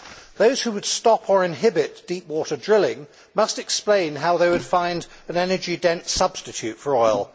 Those who would stop or inhibit deep water drilling must explain how they would find an energy dense substitute for oil.